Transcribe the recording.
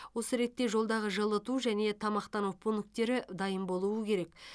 осы ретте жолдағы жылыту және тамақтану пункттері дайын болуы керек